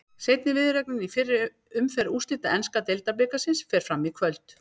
Seinni viðureignin í fyrri umferð úrslita enska deildabikarsins fer fram í kvöld.